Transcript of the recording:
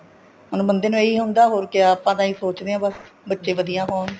ਹੁਣ ਬੰਦੇ ਨੂੰ ਇਹੀ ਹੁੰਦਾ ਹੋਰ ਕਿਆ ਆਪਾਂ ਤਾਂ ਇਹੀ ਸੋਚਦੇ ਹਾਂ ਬੱਸ ਬੱਚੇ ਵਧੀਆ ਹੋਣ